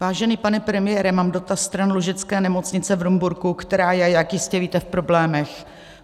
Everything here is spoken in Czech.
Vážený pane premiére, mám dotaz stran Lužické nemocnice v Rumburku, která je, jak jistě víte, v problémech.